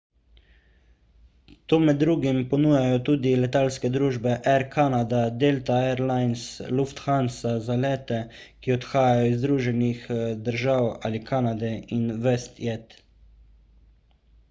to med drugimi ponujajo tudi letalske družbe air canada delta air lines lufthansa za lete ki odhajajo iz združenih držav ali kanade in westjet